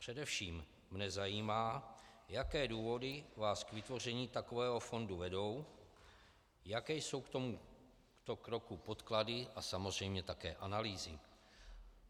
Především mne zajímá, jaké důvody vás k vytvoření takového fondu vedou, jaké jsou k tomuto kroku podklady a samozřejmě také analýzy.